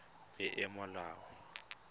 peomolao